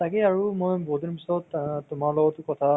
JDS ৰ কিবা কেইটামান post ওলাইছিল